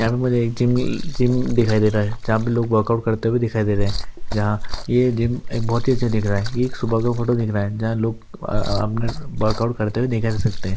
ईहा पे मुझे एक जिम ल जिम दिखाई दे रहा है जहा पे लोग वर्कआउट करते हुए दिखाई दे रहे हैं जहां यह जिम एक बहती सि देख रहा हे यह सुबह का फोटो दिख रहा है। जहां लोग आ आ आपने ब वर्कआउट करते हुए दिखा जा सकते हे--